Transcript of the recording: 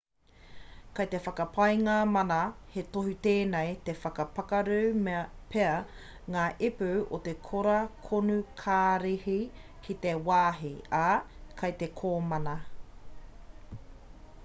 kei te whakapae ngā mana he tohu tēnei i whakapakaru pea ngā ipu o te kora konukarihi ki te wāhi ā kei te komama